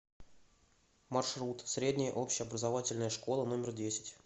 маршрут средняя общеобразовательная школа номер десять